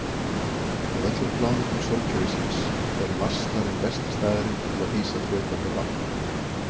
Af öllum plánetum sólkerfisins er Mars talinn besti staðurinn til að hýsa fljótandi vatn.